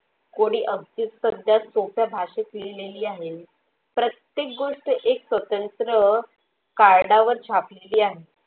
कोणी सोपे भाषात लिहिलेल्या आहे प्रत्येक गोष्ट एक स्वतंत्र कारणावर छापलेले आहे.